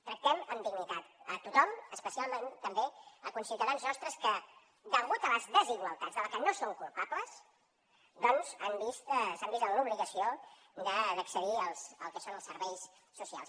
tractem amb dignitat a tothom especialment també els conciutadans nostres que degut a les desigualtats de les que no són culpables doncs s’han vist en l’obligació d’accedir al que són els serveis socials